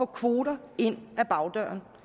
kvoter ind ad bagdøren